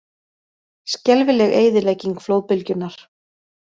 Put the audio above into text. Skelfileg eyðilegging flóðbylgjunnar